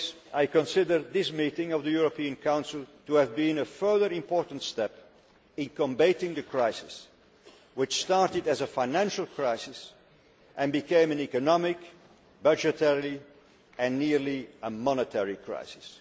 I consider this meeting of the European Council to have been a further important step in combating the crisis which started as a financial crisis and became an economic, budgetary and nearly a monetary crisis.